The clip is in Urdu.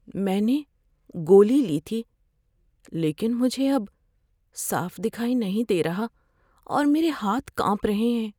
میں نے گولی لی تھی لیکن مجھے اب صاف دکھائی نہیں دے رہا اور میرے ہاتھ کانپ رہے ہیں۔